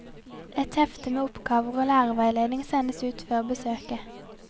Et hefte med oppgaver og lærerveiledning sendes ut før besøket.